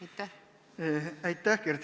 Aitäh, Kert!